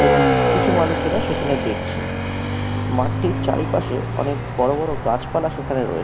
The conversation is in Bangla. এবং কিছু মানুষেরা সেখানে দেখছে মাঠ টির চারিপাশে অনেক বড় বড় গাছপালা সেখানে রয়ে --